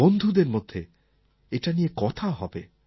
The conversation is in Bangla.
বন্ধুদের মধ্যে এটা নিয়ে কথা হবে